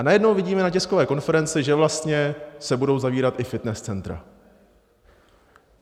A najednou vidíme na tiskové konferenci, že vlastně se budou zavírat i fitness centra.